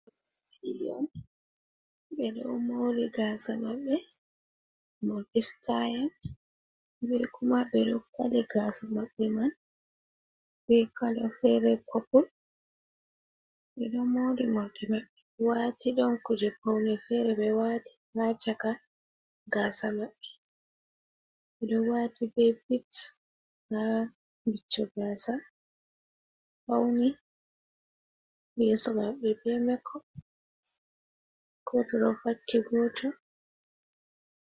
Ɓikkion ɗiɗon ɓe ɗo do moori gaasa maɓɓe morɗi sitaayel bee kuma ɓe ɗo kali gaasa maɓɓe man bee kala fere popul ɓe ɗo moorii morɗi maɓɓe ɓe waati don kuje pawne feere ɓe waati haa chaka gaasa maɓɓe, ɓe ɗo waati bee bit haa wicco gaasa, pawni yeeso maɓɓe bee gooto ɗo vakki gooto.